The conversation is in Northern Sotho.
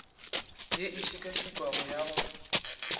ye e šekašekwago ya go